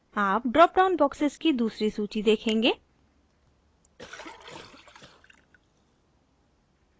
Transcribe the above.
आप drop down boxes की दूसरी सूची देखेंगे